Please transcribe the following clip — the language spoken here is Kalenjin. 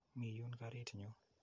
Mii yuun karit nyu.